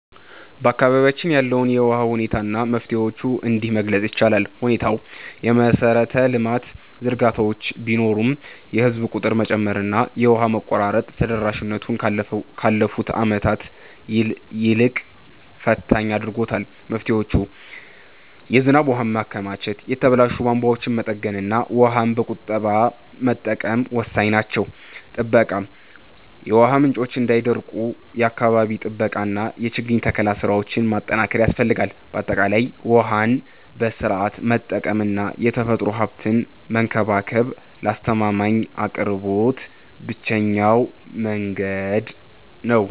በአካባቢያችን ያለውን የውሃ ሁኔታ እና መፍትሄዎቹን እንዲህ መግለፅ ይቻላል፦ ሁኔታው፦ የመሰረተ ልማት ዝርጋታዎች ቢኖሩም፣ የህዝብ ቁጥር መጨመርና የውሃ መቆራረጥ ተደራሽነቱን ካለፉት ዓመታት ይልቅ ፈታኝ አድርጎታል። መፍትሄዎች፦ የዝናብ ውሃን ማከማቸት፣ የተበላሹ ቧንቧዎችን መጠገንና ውሃን በቁጠባ መጠቀም ወሳኝ ናቸው። ጥበቃ፦ የውሃ ምንጮች እንዳይደርቁ የአካባቢ ጥበቃና የችግኝ ተከላ ስራዎችን ማጠናከር ያስፈልጋል። ባጠቃላይ፣ ውሃን በስርዓቱ መጠቀምና የተፈጥሮ ሀብትን መንከባከብ ለአስተማማኝ አቅርቦት ብቸኛው መንገድ ነው።